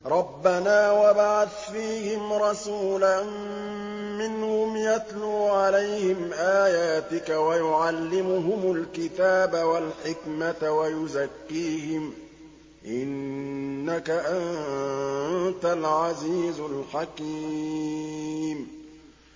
رَبَّنَا وَابْعَثْ فِيهِمْ رَسُولًا مِّنْهُمْ يَتْلُو عَلَيْهِمْ آيَاتِكَ وَيُعَلِّمُهُمُ الْكِتَابَ وَالْحِكْمَةَ وَيُزَكِّيهِمْ ۚ إِنَّكَ أَنتَ الْعَزِيزُ الْحَكِيمُ